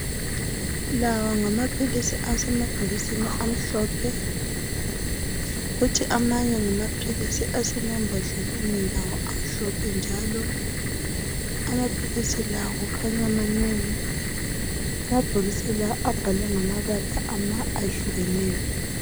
La ngamaphilisi asemabhokisini amhlophe kuthi amanye asermambodleleni amhlophe njalo. Lamaphilisi manengi Lamabhokisi abhalwe ngamabala eyehlukeneyo.